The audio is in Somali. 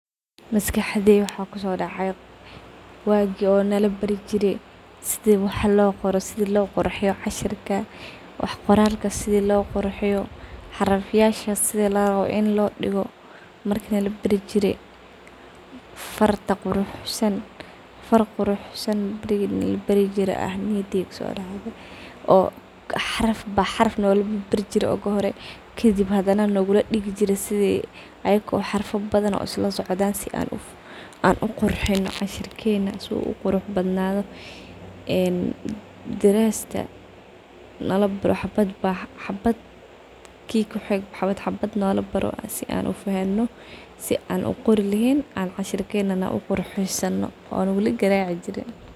Maskaxdey waxaa kusodacayo wagi oo nalabari jire sida wax qoralka loqurxiyo, xarafyasha sida larawo in lodigo , far quruxsan nalabari jire oo xaraf ba xaraf nogula bari jire marki hore aa maskaxdeydha kusodacde kadib ahadaa ayago xarafya badhan nalabarijire si an uqurxino cashirkena si uu uqurux badnado , darasta ki ba xabad xabad nolabaro si an ufahmo si an uqori lrhrn cashirkena na uqurxi sano.